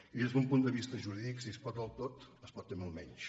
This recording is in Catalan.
i des d’un punt de vista jurídic si es pot el tot es pot també el menys